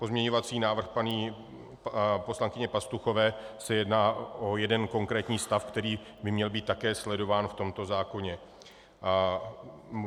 Pozměňovací návrh paní poslankyně Pastuchové se jedná o jeden konkrétní stav, který by měl být také sledován v tomto zákoně.